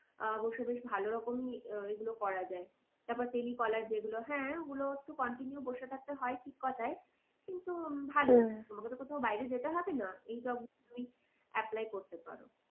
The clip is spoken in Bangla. আহ বসে বেশ ভালো রকমই আহ এগুলো করা যায়। তারপর telecaller যেগুলো হ্যাঁ ওগুলো একটু continue বসে থাকতে হয় ঠিক কথাই কিন্তু তোমাকে তো কোথাও বাইরে যেতে হবে না। এই সব তুমি apply করতে পারো।